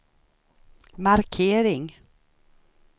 markering